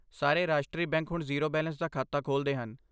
ਸਾਰੇ ਰਾਸ਼ਟਰੀ ਬੈਂਕ ਹੁਣ ਜ਼ੀਰੋ ਬੈਲੇਂਸ ਦਾ ਖਾਤਾ ਖੋਲਦੇ ਹਨ।